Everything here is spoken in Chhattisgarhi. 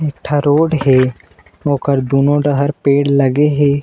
ए ठ रोड हे ओकर दुनों डहर पेड़ लागे हे।